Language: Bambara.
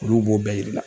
Olu b'o bɛɛ yira